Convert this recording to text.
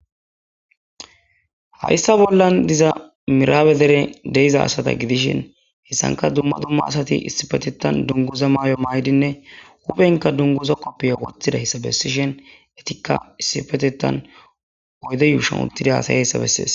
Hayssa bollan diza miraabe deren de7iza asatha gidishin heyssankka dumma dumma asathi issipetheththan dungguza mayuwa mayidinne huuphenkka dungguza koppiye woththidayssa bessishen ethikka issipetheththan oyde yuushuwan uththidi haasayeesa bessees.